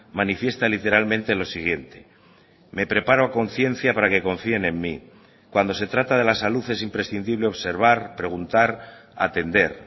manifiesta literalmente lo siguiente me preparo a conciencia para que confíen en mi cuando se trata de la salud es imprescindible observar preguntar atender